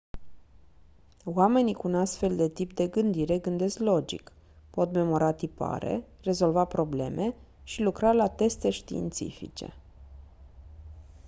oamenii cu un astfel de tip de gândire gândesc logic pot memora tipare rezolva probleme și lucra la teste științifice